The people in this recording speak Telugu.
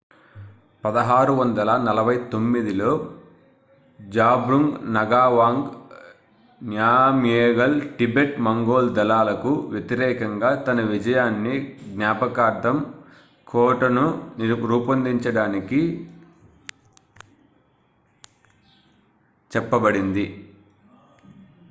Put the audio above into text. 1649లో జాబ్ద్రుంగ్ నగావాంగ్ నామ్గ్యేల్ టిబెట్-మంగోల్ దళాలకు వ్యతిరేకంగా తన విజయాన్ని జ్ఞాపకార్థం కోటను రూపొందించాడని చెప్పబడింది